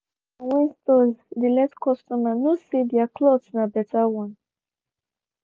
i dey like am when stores dey let customer know say their cloths na better one.